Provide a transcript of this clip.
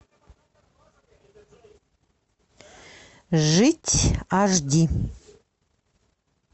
жить аш ди